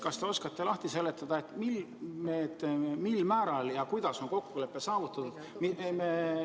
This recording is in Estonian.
Kas te oskate lahti seletada, mil määral ja kuidas on kokkulepe saavutatud?